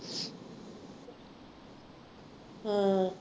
ਹਾਂ